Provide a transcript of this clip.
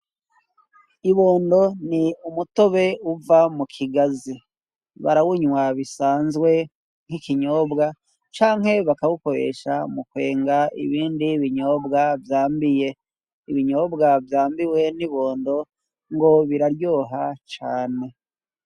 Ibondo ni umutobe uva mukigazi. Barawunywa bisanzwe nk'ikinyobwa canke bakawukoresha mukwenga ibindi binyobwa vyambiye. Ibinyobwa vyambiwe n'ibondo ngo biraryoha cane.